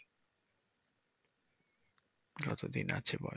যতদিন আছে বয়স।